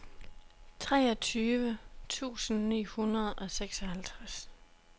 treogtyve tusind ni hundrede og seksoghalvtreds